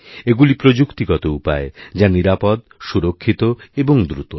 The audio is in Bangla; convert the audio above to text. এগুলি প্রযুক্তিগত উপায় যা নিরাপদ সুরক্ষিত এবং দ্রুত